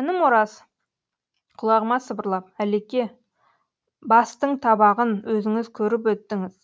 інім ораз құлағыма сыбырлап алеке бастың табағын өзіңіз көріп өттіңіз